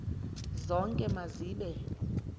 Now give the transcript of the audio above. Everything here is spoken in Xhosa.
zonke ma zibe